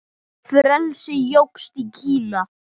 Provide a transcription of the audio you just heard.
Frelsi jókst í Kína.